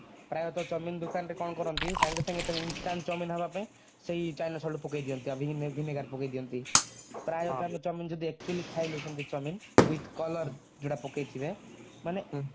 ପ୍ରାୟ ତ chowmein ଦୋକାନରେ କଣ କରନ୍ତି ସାଙ୍ଗେ ସାଙ୍ଗେ chowmein instant chowmein ହବା ପାଇଁ ସେଇ china salt ପକେଇ ଦିଅନ୍ତି ଆଉ vinegar ପକେଇ ଦିଅନ୍ତି ପ୍ରାୟତ ଆମେ chowmein ଯଦି actually ଖାଇଲୁ ସେମିତି chowmein with colour ଯଉଟା ପକେଇଥିବେ ମାନେ